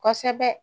Kosɛbɛ